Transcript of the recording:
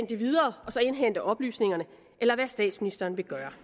det videre og så indhente oplysningerne eller hvad statsministeren vil gøre